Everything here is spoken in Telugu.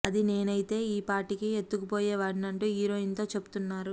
అదే నేనైతేనే ఈ పాటికి ఎత్తుకుపోయేవాడ్ని అంటూ హీరోయిన్ తో చెప్తున్నారు